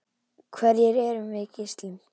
Hverjir erum við Gísli?